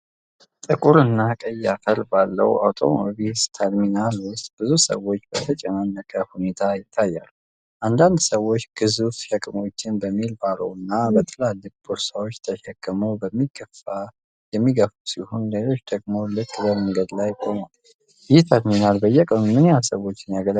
ጥቁርና ቀይ አፈር ባለው አውቶቡስ ተርሚናል ውስጥ ብዙ ሰዎች በተጨናነቀ ሁኔታ ይታያሉ። አንዳንድ ሰዎች ግዙፍ ሸክሞችን በዊል ባሮውና በትላልቅ ቦርሳዎች ተሸክመው የሚገፉ ሲሆን፣ ሌሎች ደግሞ ልክ በመንገድ ላይ ቆመዋል። ይህ ተርሚናል በየቀኑ ምን ያህል ሰዎችን ያገለግላል?